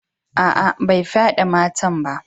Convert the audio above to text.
Aa, bai fyade matan ba.